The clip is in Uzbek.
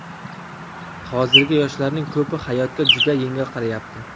Hozirgi yoshlarning ko‘pi hayotga juda yengil qarayapti.